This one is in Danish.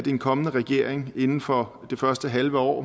en kommende regering inden for det første halve år